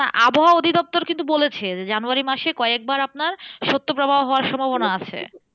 না আবহাওয়া অধিদপ্তর কিন্তু বলেছে যে, জানুয়ারী মাসে কয়েকবার আপনার শৈত্য প্রবাহ হওয়ার সম্বভনা আছে।